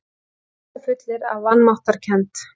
Sneisafullir af vanmáttarkennd.